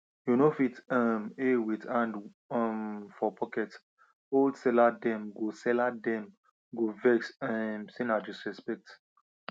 you no fit um hail with hand um for pocket old seller dem go seller dem go vex um say na disrespect